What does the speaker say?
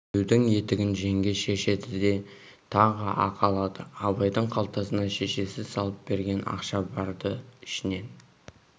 күйеудің етігін жеңге шешеді де тағы ақы алады абайдың қалтасына шешесі салып берген ақша бар-ды ішінен